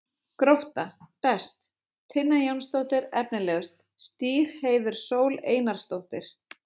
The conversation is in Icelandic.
Grótta: Best: Tinna Jónsdóttir Efnilegust: Stígheiður Sól Einarsdóttir